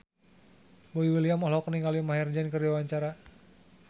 Boy William olohok ningali Maher Zein keur diwawancara